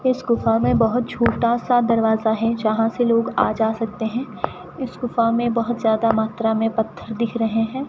इस गुफा में बहोत छोटा सा दरवाजा है जहां से लोग आ जा सकते हैं इस गुफा में बहोत ज्यादा मात्रा में पत्थर दिख रहे हैं।